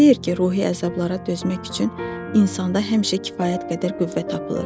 Kim deyir ki, ruhi əzablara dözmək üçün insanda həmişə kifayət qədər qüvvə tapılır.